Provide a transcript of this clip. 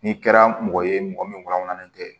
N'i kɛra mɔgɔ ye mɔgɔ min kɔnɔlen tɛ